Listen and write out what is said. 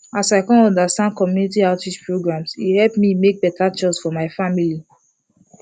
as i come understand community outreach programs e help me make better choices for my family